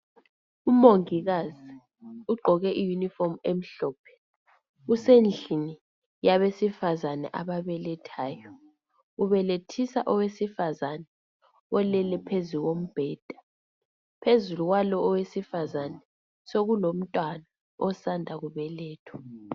Umongikazi ugqoke i uniform emhlophe usendlini yabesifazani ababelethayo. Ubelethisa owesifazani olele phezukombheda. Phezulu kwalo owesifazani sekulomtwana osanda kubelethwa.